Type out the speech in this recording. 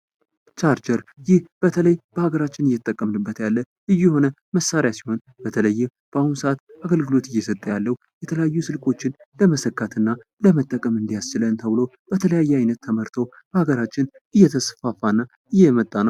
ቻርጀር ይኸው ይህ በተለይ በአገራችን እየተጠቀምንበት ልዩ የሆነ መሳሪያ ሲሆን በተለይም በአሁን ሰአት አገልግሎት እየሰጠ ያለው የተለያዩ ስልኮችን ለመሰካትና ለመጠቀም እንዲያስችለን ተብሎ በተለያየ አይነት ተመርቶ በሀገራችን እየተስፋፋ እና እየመጣ ነው።